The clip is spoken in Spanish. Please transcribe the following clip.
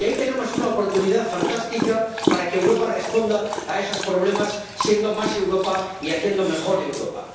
Y ahí tenemos una oportunidad fantástica para que Europa responda a esos problemas, siendo más Europa y haciendo mejor Europa.